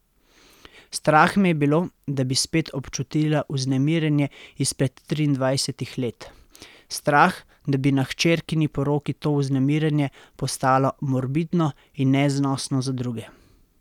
Strah me je bilo, da bi spet občutila vznemirjenje izpred triindvajsetih let, strah, da bi na hčerkini poroki to vznemirjenje postalo morbidno in neznosno za druge.